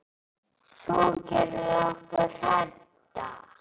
Þú gerðir okkur hrædda.